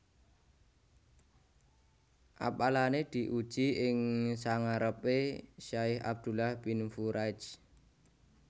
Apalané diuji ing sangarepé Syaikh Abdullah Bin Furaij